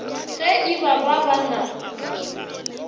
ge e ba ba na